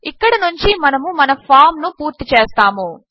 ఇక్కడి నుంచి మనము మన ఫార్మ్ ను పూర్తి చేస్తాము